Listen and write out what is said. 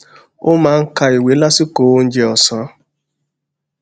ó máa ń ka ìwé lásìkò oúnjẹ òsán